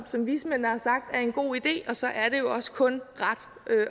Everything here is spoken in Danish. som vismændene har sagt er en god idé og så er det jo også kun ret